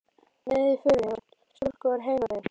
Með í förinni var stúlka úr heimabyggð